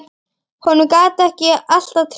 Honum gat ég alltaf treyst.